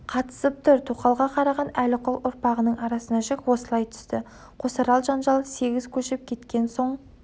қатысып тұр тоқалға қараған әліқұл ұрпағының арасына жік осылай түсті қосарал жанжалы сегіз көшіп кеткен соң